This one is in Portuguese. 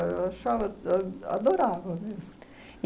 Eu achava... A adorava, viu?